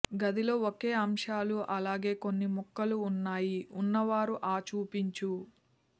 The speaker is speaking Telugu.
గదిలో ఒకే అంశాలు అలాగే కొన్ని ముక్కలు ఉన్నాయి ఉన్నవారు ఆ చూపించు